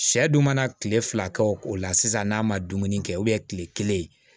Sɛ dun mana tile fila kɛ o la sisan n'a ma dumuni kɛ tile kelen